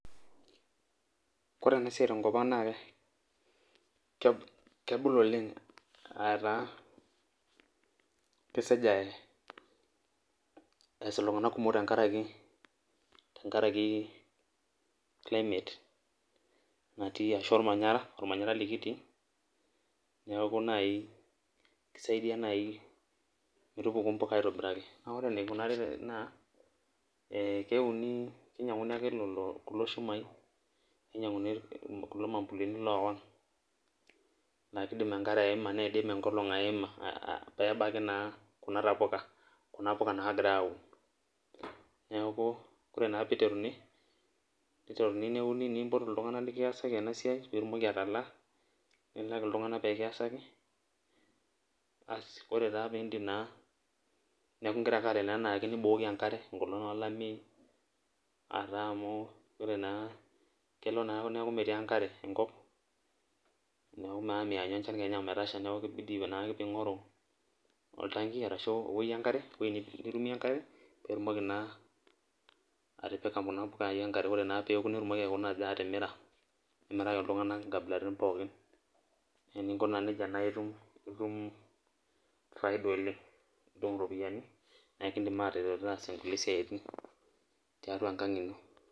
Ore enasia tenkop aang na lebul oleng ataa kesek eeas ltunganak kumok twnkaraki ormanyara likitii neaku kisaidia nai metupuku mpuka aitobiraki na ore enikuni na kinyanguni ake kulo shumai ninyanguni kulo ambulini owing oidim enkolong aima pebaki naa kuna puka nagirai aun neaku ore piteruni neuni nimpoti ltunganak likiasaki enasia ore pindio nibukoki enkare enkolong olameyu amu ore na kelo na neaku meti enkare enkop neaku kibidi ake pingoru oltangi asu ewoi nipikie enkare pitumoki atipika kuna puka enkare nimirika ltunganak nkabilaitin pookin na itum faida oleng na elidim ataret taasa siatin tiatua olosho enkang ino